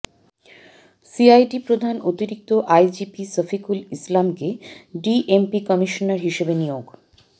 CID প্রধান অতিরিক্ত IGP Shafiqul ইসলামকে ডিএমপি কমিশনার হিসেবে নিয়োগ